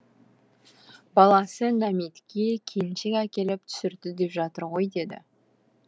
баласы нәметке келіншек әкеліп түсірді деп жатыр ғой деді